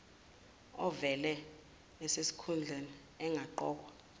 ovele esesikhundleni engaqokwa